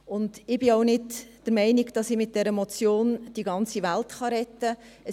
Ich bin auch nicht der Meinung, dass ich mit dieser Motion die ganze Welt retten kann.